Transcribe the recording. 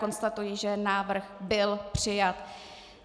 Konstatuji, že návrh byl přijat.